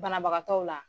Banabagatɔw la